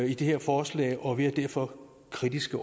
i det her forslag og vi er derfor kritiske